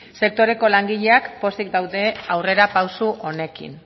sektoreko langileak pozik daude aurrera pausu honekin